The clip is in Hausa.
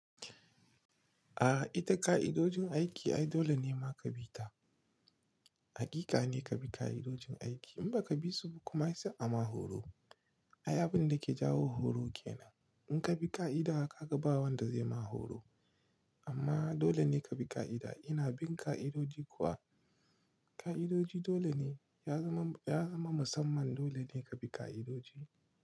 A ita ka'idojin aiki ai dole ne ma ka bi ta. Hakika ne ka bi ka'idojin aiki. In ba ka bi su ba kuma sai a ma horo. Abin da ke jawo horo ke nan. In ka bi ka'ida, ka ga ba wanda zai ma horo. Amma dole ne ka bi ka'ida. Ina bin ka'idoji kuwa. Ka'idoji dole ne. Ya zama, ya zama musamman dole ne ka bi ka'idoji.